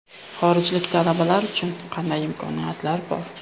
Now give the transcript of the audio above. Xorijlik talabalar uchun qanday imkoniyatlar bor?